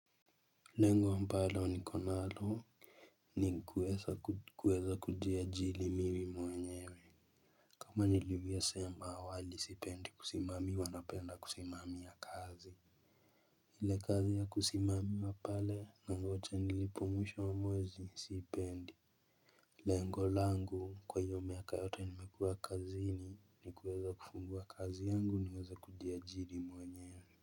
Lengo ambalo niko nalo ni kuweza kuweza kujiajiri mimi mwenyewe. Kama nilivyosema awali sipendi kusimamiwa napenda kusimamia kazi ile kazi ya kusimamiwa pale nangoja nilipwe mwisho wa mwezi siipendi. Lengo langu kwa hiyo miaka yote nimekuwa kazini ni kuweza kufungua kazi yangu niweze kujiajiri mwenyewewe.